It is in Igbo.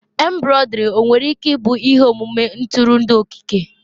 Embroidery nwere ike ịbụ ihe omume ntụrụndụ okike?